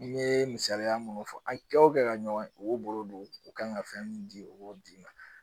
N ye misaliya munnu fɔ an kɛ o kɛ ka ɲɔgɔn u y'u bolo don u kan ka fɛn mun di u b'o d'i ma